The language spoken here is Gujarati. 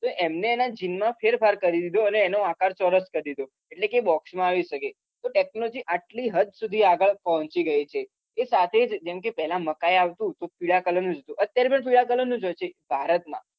તો એમને એના gene માં ફેરફાર કરી દીધો અને એનો આકાર ચોરસ કરી દીધો એટલે કે એ box માં આવી શકે. તો technology આટલી હદ સુધી આગળ પહોંચી ગઈ છે એ સાથે જ જેમ કે પેલા મકાઈ આવતું તો પીળા કલરનું જ હતું અત્યારે પણ પીળા કલરનું જ હોય છે ભારતમાં